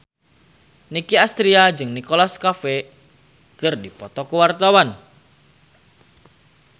Nicky Astria jeung Nicholas Cafe keur dipoto ku wartawan